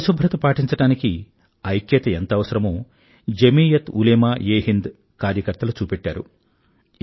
పరిశుభ్రత పాటించడానికి ఐక్యత ఎంత అవసరమో జమీయత్ ఉలేమాఎహింద్ కార్యకర్తలు చూపెట్టారు